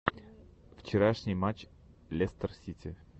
вчерашний матч лестер сити